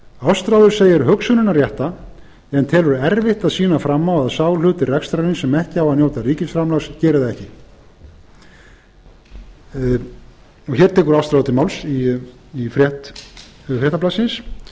ástráður telur hugsunina rétta en telur erfitt að sýna fram á að sá hluti rekstrarins sem ekki á að njóta ríkisframlags geri það ekki hér tekur ástráður til máls í frétt fréttablaðsins